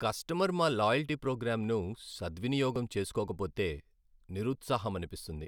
Customer మా loyalty ప్రోగ్రామ్ను సద్వినియోగం చేసుకోకపోతే నిరుత్సాహమనిపిస్తుంది.